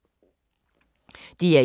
DR1